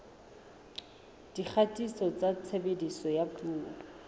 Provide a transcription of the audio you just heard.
dikgatiso tsa tshebediso ya dipuo